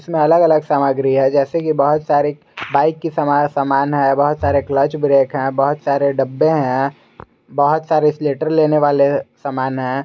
अलग अलग सामग्री है जैसे की बहोत सारे बाइक के समान है बहोत सारे क्लच ब्रेक है बहोत सारे डब्बे हैं बहोत सारे स्लेटर लेने वाले सामान है।